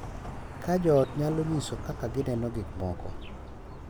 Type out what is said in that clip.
Ka jo ot nyalo nyiso kaka gineno gik moko,